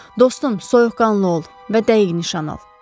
Dostum, soyuqqanlı ol və dəqiq nişan al.